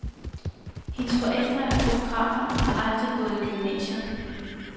Hendes forældre er fotografer og har aldrig gået i gymnasiet.